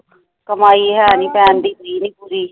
ਕਮਾਈ ਹੈ ਨੀ ਪੈਦੀ ਪਈ ਨੀ ਪੂਰੀ